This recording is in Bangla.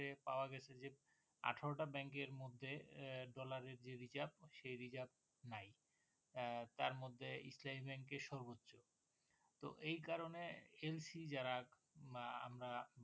ওতে পাওয়া গেছে যে আঠারো টা Bank এর মধ্যে আহ Dollar এর যে Reserve সে Reserve নাই এর তার মধ্যে ইসলামি Bank এ সর্বচ্চো তো এই কারনে LC যারা আমরা।